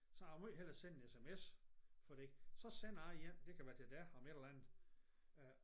Så jeg vil meget hellere sende en SMS fordi så sender jeg en det kan være til dig om et eller andet